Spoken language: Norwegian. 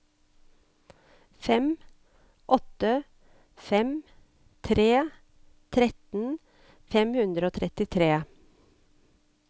fem åtte fem tre tretten fem hundre og trettitre